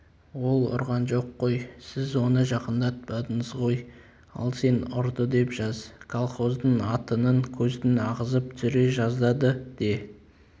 ол ұрған жоқ қой сіз оны жақындатпадыңыз ғой ал сен ұрды деп жаз колхоздың атының көзін ағызып түсіре жаздады де